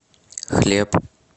хлеб